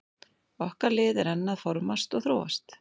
Okkar lið er enn að formast og þróast.